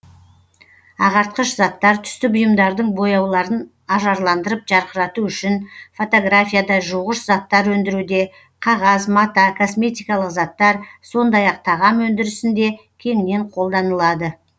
ағартқыш заттар түсті бұйымдардың бояуларын ажарландырып жарқырату үшін фотографияда жуғыш заттар өндіруде қағаз мата косметикалық заттар сондай ақ тағам өндірісінде кеңінен қолданылады